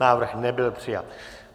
Návrh nebyl přijat.